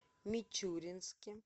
мичуринске